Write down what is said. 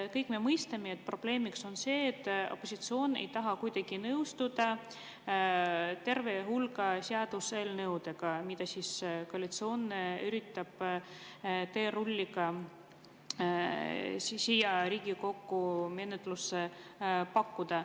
Kõik me mõistame, et probleemiks on see, et opositsioon ei taha kuidagi nõustuda terve hulga seaduseelnõudega, mida koalitsioon üritab teerulliga siia Riigikokku menetlusse pakkuda.